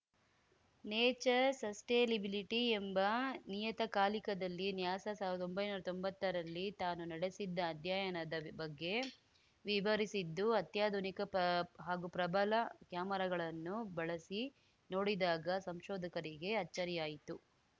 nature sustainability ಎಂಬ ನಿಯತ ಕಾಲಿಕದಲ್ಲಿ ನ್ಯಾಸಾ ಸಾವ್ರ್ದೊಂಬೈನೂರಾ ತೊಂಬತ್ತರಲ್ಲಿ ತಾನು ನಡೆಸಿದ್ದ ಅಧ್ಯಯನದ ಬಗ್ಗೆ ವಿವರಿಸಿದ್ದು ಅತ್ಯಾಧುನಿಕ ಪ ಹಾಗೂ ಪ್ರಬಲ ಕ್ಯಾಮೆರಾಗಳನ್ನು ಬಳಸಿ ನೋಡಿದಾಗ ಸಂಶೋಧಕರಿಗೆ ಅಚ್ಚರಿಯಾಯಿತು